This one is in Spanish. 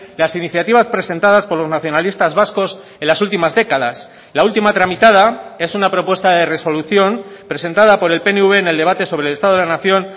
las iniciativas presentadas por los nacionalistas vascos en las últimas décadas la última tramitada es una propuesta de resolución presentada por el pnv en el debate sobre el estado de la nación